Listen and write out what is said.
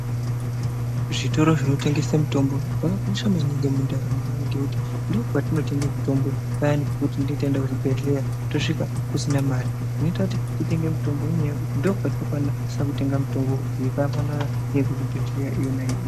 Zvitoro zvinotengese mitombo zvakakosha maningi mundaramo yedu ngekuti ndokwatinotenge mitombo payana pekuti tinenge taenda kuzvibhedhleya tosvika kusina mare zvinoita kuti titenge mitombo ngenyaya yekuti ndopatokwanise kutenga mitombo yakafanana neyekuzvibhedhleya yona iyoyo.